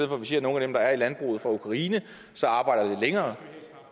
for at vi siger at nogle af dem der er i landbruget fra ukraine arbejder lidt længere